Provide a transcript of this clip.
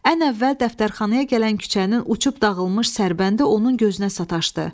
Ən əvvəl dəftərxanaya gələn küçənin uçub dağılmış sərbəndi onun gözünə sataşdı.